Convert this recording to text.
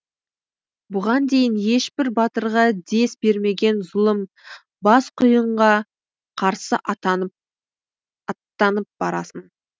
бұған дейін ешбір батырға дес бермеген зұлым бас құйынға қарсы аттанып барасың